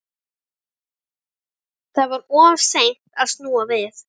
Það var of seint að snúa við.